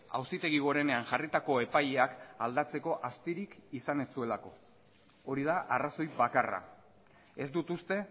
auzitegi gorenean jarritako epaileak aldatzeko astirik izan ez zuelako hori da arrazoi bakarra ez dut uste